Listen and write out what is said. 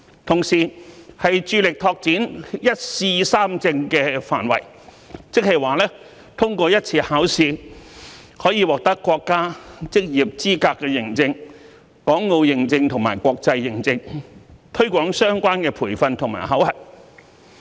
同時，致力拓展"一試三證"的範圍，即通過一次考試可以獲得國家職業資格認證、港澳認證及國際認證，推廣相關培訓和考核。